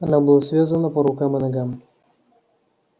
она была связана по рукам и ногам